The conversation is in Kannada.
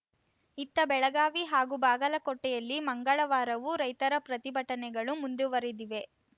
ಇತ್ತ ಬೆಳಗಾವಿ ಹಾಗೂ ಬಾಗಲಕೋಟೆಯಲ್ಲಿ ಮಂಗಳವಾರವೂ ರೈತರ ಪ್ರತಿಭಟನೆಗಳು ಮುಂದುವರಿದಿವೆ